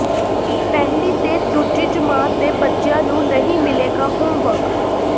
ਪਹਿਲੀ ਤੇ ਦੂਜੀ ਜਮਾਤ ਦੇ ਬੱਚਿਆਂ ਨੂੰ ਨਹੀਂ ਮਿਲੇਗਾ ਹੋਮਵਰਕ